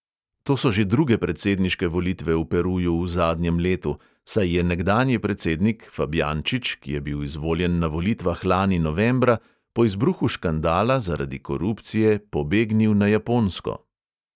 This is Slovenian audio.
To so že druge predsedniške volitve v peruju v zadnjem letu, saj je nekdanji predsednik fabjančič, ki je bil izvoljen na volitvah lani novembra, po izbruhu škandala zaradi korupcije pobegnil na japonsko.